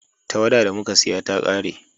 tawada da muka saya ta kare